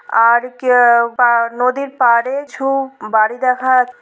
আর কে বা নদীর পাড়ে ছু বাড়ি দেখা যা--।